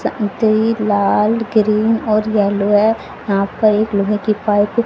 लाल green और yellow है यहां पर एक लोहे की पाइप --